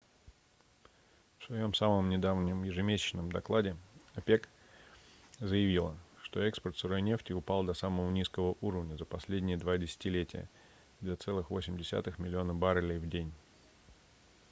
в своём самом недавнем ежемесячном докладе опек заявила что экспорт сырой нефти упал до самого низкого уровня за последние два десятилетия - 2,8 миллиона баррелей в день